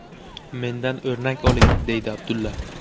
Mendan o‘rnak oling”, deydi Abdulla.